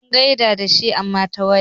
Mun gaisa da shi amma ta waya.